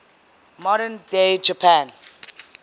modern day japan